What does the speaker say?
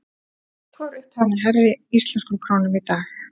Hvor upphæðin er hærri íslenskum krónum í dag?